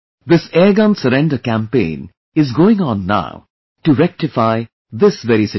This airgun surrender campaign is going on now to rectify this very situation